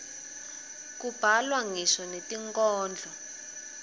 kubhalwa ngisho netinkhondlo